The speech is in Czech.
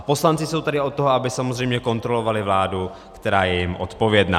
A poslanci jsou tady od toho, aby samozřejmě kontrolovali vládu, která je jim odpovědná.